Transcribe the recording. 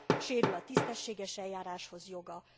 Sérül a tisztességes eljáráshoz való joga.